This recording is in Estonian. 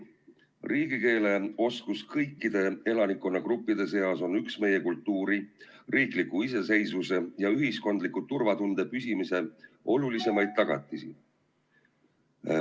Riigikeele oskus kõikide elanikkonnagruppide seas on üks meie kultuuri, riikliku iseseisvuse ja ühiskondliku turvatunde püsimise olulisemaid tagatisi.